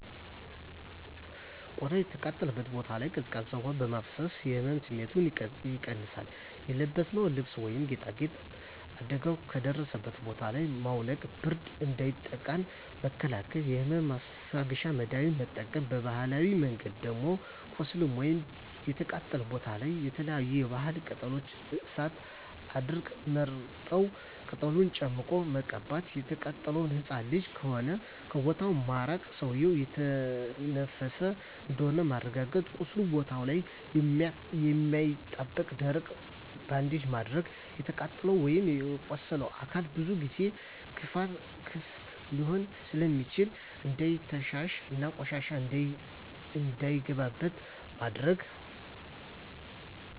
ቆዳው የተቃጠለበት ቦታ ላይ ቀዝቃዛ ውሀ በማፍሰስ የህመም ስሜቱን ይቀንሳል :የለበስነውን ልብስ ወይም ጌጣጌጥ አደጋው ከደረሰበት ቦታ ላይ ማውለቅ ብርድ እንዳያጠቃን መከላከል የህመም ማስታገሻ መድሀኒት መጠቀም በባህላዊ መንገድ ደም ቁስሉ ወይም የተቃጠለው ቦታ ላይ የተለያዪ የባህላዊ ቅጠሎች እንደ እሳት አድርቅ ወርጠብ ቅጠሎችን ጨምቆ መቀባት። የተቃጠለው ህፃን ልጅ ከሆነ ከቦታው ማራቅ ሰውዬው እየተነፈሰ እንደሆነ ማረጋገጥ ቁስሉ ቦታ ላይ የማያጣብቅ ደረቅ ባንዴጅ ማድረግ። የተቃጠለው ወይም የቆሰለው አካል ብዙ ጊዜ ክፍት ሊሆን ስለሚችል እንዳይተሻሽ እና ቆሻሻ እንዳይገባበት ማድረግ።